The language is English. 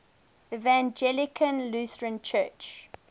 evangelical lutheran church